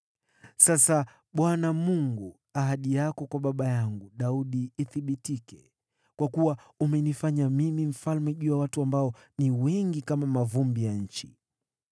Sasa, Bwana Mungu, ahadi yako kwa baba yangu Daudi na ithibitike, kwa kuwa umenifanya mimi mfalme juu ya watu ambao ni wengi kama mavumbi ya nchi.